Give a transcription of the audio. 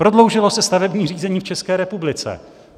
Prodloužilo se stavební řízení v České republice!